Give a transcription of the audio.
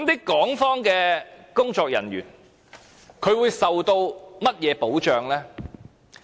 港方工作人員會受甚麼保障？